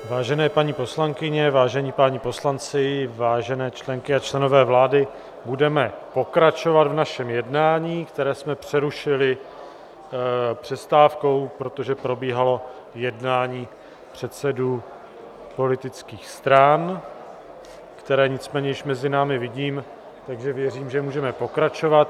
Vážené paní poslankyně, vážení páni poslanci, vážené členky a členové vlády, budeme pokračovat v našem jednání, které jsme přerušili přestávkou, protože probíhalo jednání předsedů politických stran, které nicméně již mezi námi vidím, takže věřím, že můžeme pokračovat.